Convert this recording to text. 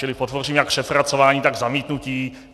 Čili podpořím jak přepracování, tak zamítnutí.